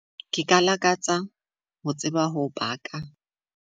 Ke ka lakatsa ho tseba ka tsa ho baka.